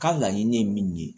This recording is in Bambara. Ka laɲini ye min ye